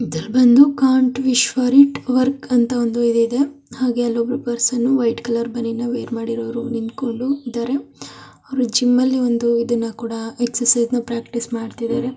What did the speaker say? Can't wish for it work ಅಂತ ಹಾಗು ಒಂದು ಪೆರ್ಸನನ್ನು ವೈಟ್ ಕಲರ್ ಬನಿನ್ ವೇರ್ ಮಾಡ್ಕೊಂಡು ನಿಂತಿದ್ದಾರೆ ಜಿಮ್ ಅಲ್ಲಿ ಇದನ್ನು ಕೂಡ ಪ್ರಾಕ್ಟೀಸ್ ಮಾಡ್ತಾ ಇದ್ದಾರೆ.